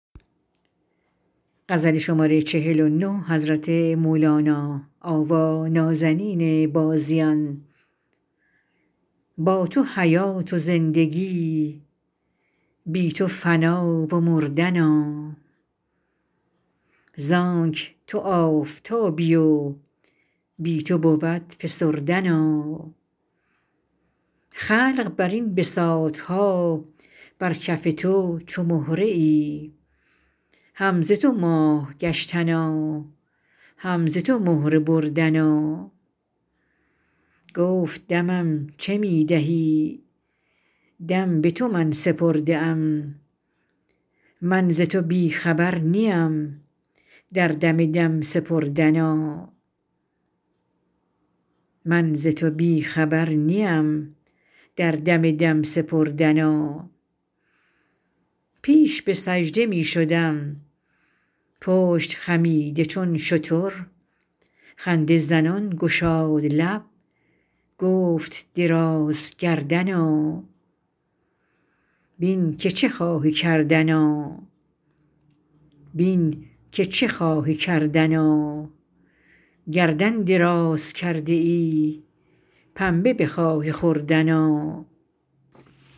با تو حیات و زندگی بی تو فنا و مردنا زانک تو آفتابی و بی تو بود فسردنا خلق بر این بساط ها بر کف تو چو مهره ای هم ز تو ماه گشتنا هم ز تو مهره بردنا گفت دمم چه می دهی دم به تو من سپرده ام من ز تو بی خبر نیم در دم دم سپردنا پیش به سجده می شدم پشت خمیده چون شتر خنده زنان گشاد لب گفت درازگردنا بین که چه خواهی کردنا بین که چه خواهی کردنا گردن دراز کرده ای پنبه بخواهی خوردنا